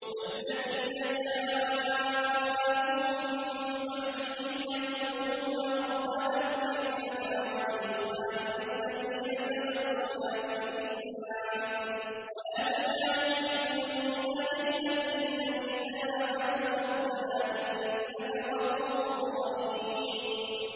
وَالَّذِينَ جَاءُوا مِن بَعْدِهِمْ يَقُولُونَ رَبَّنَا اغْفِرْ لَنَا وَلِإِخْوَانِنَا الَّذِينَ سَبَقُونَا بِالْإِيمَانِ وَلَا تَجْعَلْ فِي قُلُوبِنَا غِلًّا لِّلَّذِينَ آمَنُوا رَبَّنَا إِنَّكَ رَءُوفٌ رَّحِيمٌ